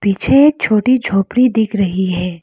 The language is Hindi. पीछे एक छोटी झोपड़ी दिख रही है।